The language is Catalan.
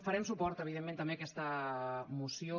farem suport evidentment també a aquesta moció